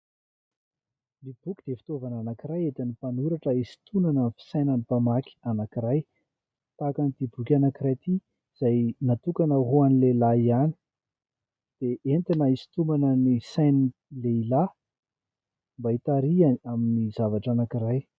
Ny boky dia fitaovana anankiray entin'ny mpanoratra isotonana ny fisainan'ny mpamaky anankiray tahaka an'ity boky anankiray ity izay natokana hoan'ny lehilahy ihany dia entina isotonana ny sain'ny lehilahy mba itarihany amin'ny zavatra anankiray.